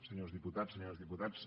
senyores diputades senyors diputats